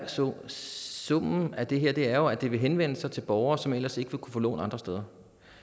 så summen af det her er jo at det vil henvende sig til borgere som ellers ikke vil kunne få lån andre steder